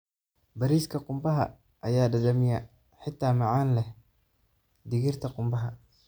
Bariiska qumbaha ayaa dhadhamiyaa xitaa macaan leh digirta qumbaha.